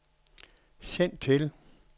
send til